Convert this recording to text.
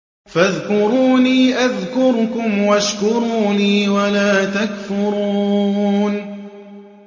فَاذْكُرُونِي أَذْكُرْكُمْ وَاشْكُرُوا لِي وَلَا تَكْفُرُونِ